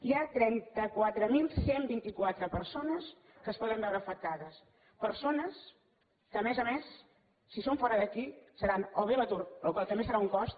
hi ha trenta quatre mil cent i vint quatre persones que es poden veure afectades persones que a més a més si són fora d’aquí seran o bé a l’atur la qual cosa també serà un cost